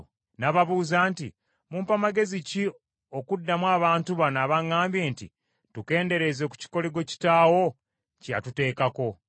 N’ababuuza nti, “Mumpa magezi ki okuddamu abantu bano abaŋŋambye nti, ‘Tukendeereze ku kikoligo kitaawo kye yatuteekako?’ ”